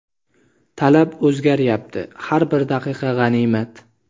talab o‘zgaryapti - har bir daqiqa g‘animat.